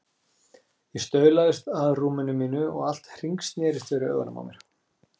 Ég staulaðist að rúm- inu mínu og allt hringsnerist fyrir augunum á mér.